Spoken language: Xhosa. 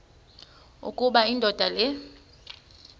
ukuba indoda le